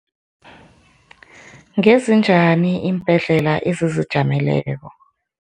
Ngezinjani iimbhedlela ezizijameleko?